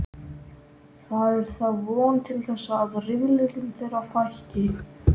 Það er þá von til þess að rifrildum þeirra fækki.